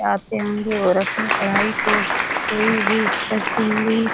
आते होंगे और अपने पढ़ाई को पूरी भी करते होंगे।